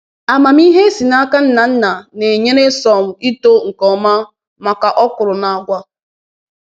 Amamihe e si n’aka nna nna na-enyere sorghum ito nke ọma maka okwuru na agwa